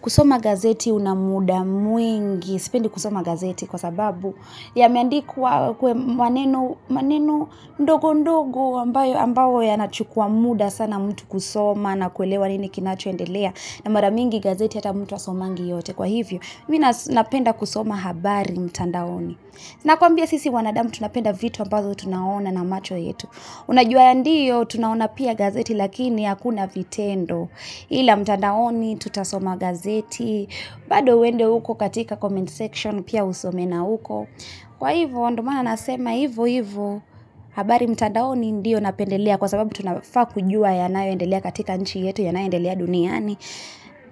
Kusoma gazeti una muda mwingi sipendi kusoma gazeti kwa sababu yameandikwa kwa maneno ndogo ndogo ambayo yanachukua muda sana mtu kusoma na kuelewa nini kinachoendelea na mara mingi gazeti hata mtu hasomangi yote kwa hivyo Mimi napenda kusoma habari mtandaoni Nakwambia sisi wanadamu tunapenda vitu ambazo tunaona na macho yetu Unajuaa ya ndiyo tunaona pia gazeti lakini hakuna vitendo ila mtandaoni tutasoma gazeti bado uende uko katika comment section pia usome na uko Kwa hivyo ndo maana nasema hivyohivyo habari mtandaoni ndio napendelea kwa sababu tunafaa kujua yanayoendelea katika nchi yetu yanayoendelea duniani